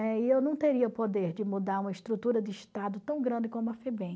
e eu não teria poder de mudar uma estrutura de Estado tão grande como a Febem.